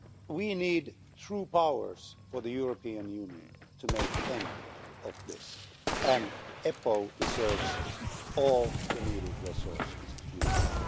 We need true powers for the European Union to bring an end to this, and EPO deserves all the needed resources to do that.